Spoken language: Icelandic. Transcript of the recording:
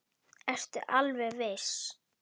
Ertu alveg viss?